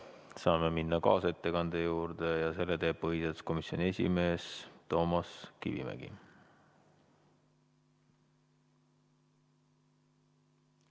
Saame minna kaasettekande juurde ja selle teeb põhiseaduskomisjoni esimees Toomas Kivimägi.